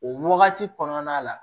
O wagati kɔnɔna la